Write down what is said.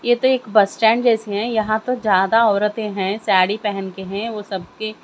ये तो एक बस स्टैंड जैसे हैं यहां पर ज्यादा औरतें हैं साड़ी पहन के हैं वो सब के--